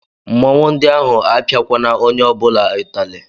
Mmụọnwụ ndi ahu apiakwana onye obula ụtali